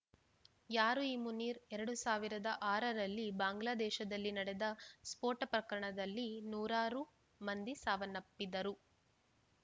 ಯಾರು ಈ ಮುನೀರ್‌ ಎರಡು ಸಾವಿರದ ಆರರಲ್ಲಿ ಬಾಂಗ್ಲಾದೇಶದಲ್ಲಿ ನಡೆದ ಸ್ಫೋಟ ಪ್ರಕರಣದಲ್ಲಿ ನೂರಾರು ಮಂದಿ ಸಾವನ್ನಪ್ಪಿದ್ದರು